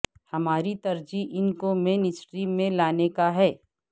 ہماری ترجیح ان کو مین سٹریم میں لانے کا ہے